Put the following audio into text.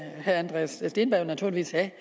herre andreas steenberg naturligvis have